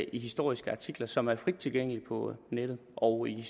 i historiske artikler som er frit tilgængelige på nettet og i